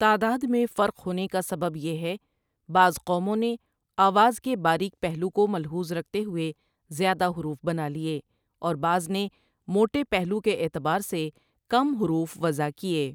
تعداد میں فرق ہونے کا سبب یہ ہے بعض قوموں نے آواز کے باریک پہلو کو ملحوظ رکھتے ہوئے زیادہ حروف بنالئے اور بعض نے موٹے پہلو کے اعتبار سے کم حروف وضع کیے۔